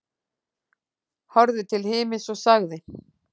Horfði til himins og sagði: